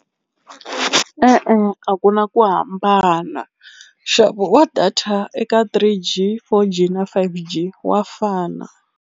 E-e a ku na ku hambana nxavo wa data eka three G four G na five G wa fana.